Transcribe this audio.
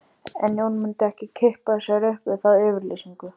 En Jón myndi ekki kippa sér upp við þá yfirlýsingu